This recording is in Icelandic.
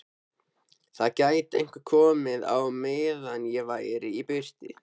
Það gæti einhver komið á meðan ég væri í burtu